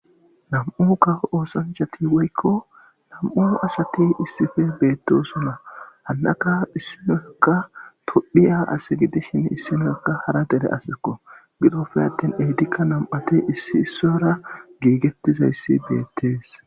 Nam'u ka oosanchati woykko nam7u asati issife beettosuna hannaka issinoakka todhiya ase gidishin issinoekka hara dele asekko gidofe attin ehdikka nam'ati issi sora giigettizayssi beettees.